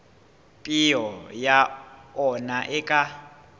peo ya ona e ka